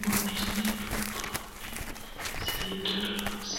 mamaanni duunbanni Sinde loosi no hoowete Beerawete sonkanna Sinde hoowete loonsita Konne halaale ayeera kullayya Lalu gudino hoodete Magano ati qolinke ikkannoha Lalu hoodete gudeenna.